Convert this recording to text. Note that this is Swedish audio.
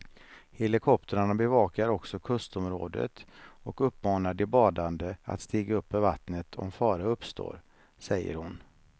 Helikoptrarna bevakar också kustområdet och uppmanar de badande att stiga upp ur vattnet om fara uppstår, säger hon.